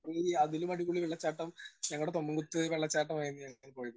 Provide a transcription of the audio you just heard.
Speaker 1 ഏ അതിലും അടിപൊളി വെള്ളച്ചാട്ടം ഞങ്ങടെ തൊമ്മൻകുത്ത് വെള്ളച്ചാട്ടം ആയിരുന്നു ഞങ്ങൾ പോയത്.